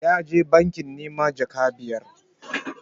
Ya je banki neman jaka biyar